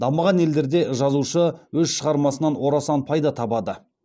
дамыған елдерде жазушы өз шығармасынан орасан пайда табады